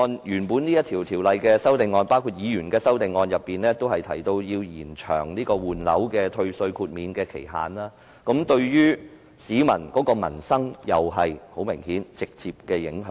有關《條例草案》的修正案，包括議員提出的修正案均建議延長換樓退稅的豁免期限，對民生很明顯有直接影響。